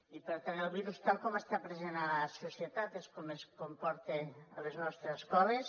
i per tant el virus tal com està present a la societat és com es comporta a les nostres escoles